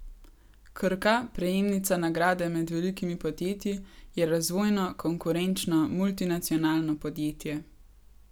Krka, prejemnica nagrade med velikimi podjetji, je razvojno, konkurenčno multinacionalno podjetje.